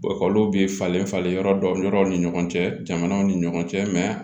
olu bi falen falen yɔrɔ dɔw yɔrɔw ni ɲɔgɔn cɛ jamanaw ni ɲɔgɔn cɛ